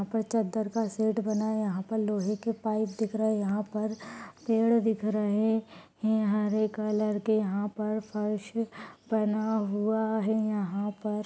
यहाँ पर चद्दर का शेड बना हैयहाँ पर लोहे के पाइप दिख रहे हैयहाँ पर पेड़ दिख रहे हैंहरे कलर के यहाँ पर फर्श बना हुआ हैयहाँ पर --